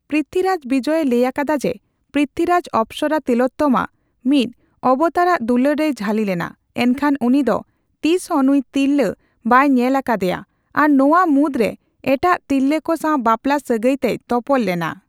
ᱯᱨᱤᱛᱷᱤᱨᱟᱡ ᱵᱤᱡᱚᱭ ᱮ ᱞᱟᱹᱭ ᱟᱠᱟᱫᱟ ᱡᱮ ᱯᱨᱤᱛᱷᱤᱨᱟᱡ ᱚᱯᱥᱚᱨᱟ ᱛᱤᱞᱳᱛᱛᱢᱟ ᱢᱤᱫ ᱚᱵᱛᱟᱨᱟᱜ ᱫᱩᱞᱟᱹᱲ ᱨᱮᱭ ᱡᱷᱟᱞᱤ ᱞᱮᱱᱟ, ᱮᱱᱠᱷᱟᱱ ᱩᱱᱤ ᱫᱚ ᱛᱤᱥ ᱦᱚ ᱱᱩᱭ ᱛᱤᱨᱞᱟᱹ ᱵᱟᱭ ᱧᱮᱞ ᱟᱠᱟᱫᱮᱭᱟ ᱟᱨ ᱱᱚᱧᱟ ᱢᱩᱫᱨᱮ ᱮᱴᱟᱜ ᱛᱤᱨᱞᱟᱹ ᱠᱚ ᱥᱟᱣ ᱵᱟᱯᱞᱟ ᱥᱟᱹᱜᱟᱹᱭ ᱛᱮᱭ ᱛᱚᱯᱚᱞ ᱞᱮᱱᱟ ᱾